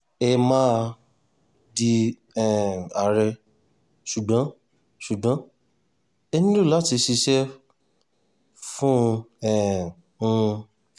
ẹ máa di um àárẹ̀ ṣùgbọ́n ṣùgbọ́n ẹ nílò láti ṣiṣẹ́ fún um un